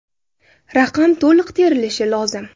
Raqam to‘liq terilishi lozim.